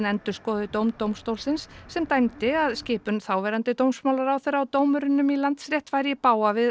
endurskoði dóm dómstólsins sem dæmdi að skipun þáverandi dómsmálaráðherra á dómurum í Landsrétt færi í bága við